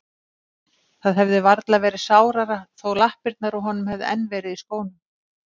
Það hefði varla verið sárara þó lappirnar á honum hefðu enn verið í skónum.